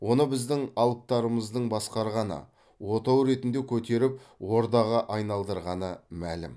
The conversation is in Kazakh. оны біздің алыптарымыздың басқарғаны отау ретінде көтеріп ордаға айналдырғаны мәлім